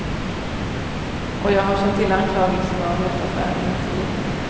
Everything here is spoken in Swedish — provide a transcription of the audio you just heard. Och jag har känt till anklagelserna om mutaffären en tid.